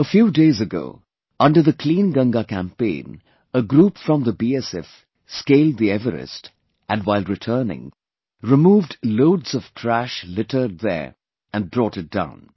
A few days ago, under the 'Clean Ganga Campaign', a group from the BSF Scaled the Everest and while returning, removed loads of trash littered there and brought it down